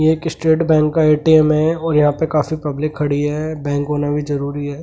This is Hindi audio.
ये एक स्टेट बैंक का ए_टी_एम है और यहां पे काफी पब्लिक खड़ी है बैंक होना भी जरूरी है।